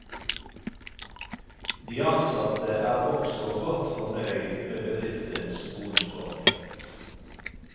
De ansatte er også godt fornøyd med bedriftens bonusordning.